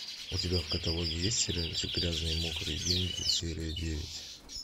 у тебя в каталоге есть сериальчик грязные мокрые деньги серия девять